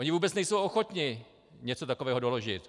Oni vůbec nejsou ochotni něco takového doložit.